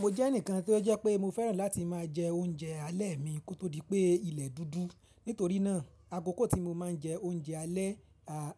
Mo jẹ́ ẹnìkan tí ó jẹ́ pé mo fẹ́ràn láti máa jẹ oúnjẹ alẹ́ mi kó tó di pé ilẹ̀ dúdú. Nítorí náà, akoko tí mo máa ń jẹ oúnjẹ alẹ́